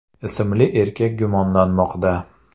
ismli erkak gumonlanmoqda.